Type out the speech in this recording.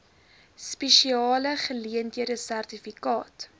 spesiale geleenthede sertifikaat